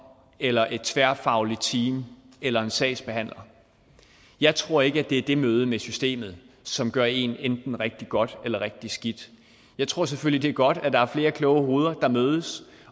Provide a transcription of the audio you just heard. eller et tværfagligt team eller en sagsbehandler jeg tror ikke at det er det møde med systemet som gør en enten rigtig godt eller rigtig skidt jeg tror selvfølgelig det er godt at der er flere kloge hoveder der mødes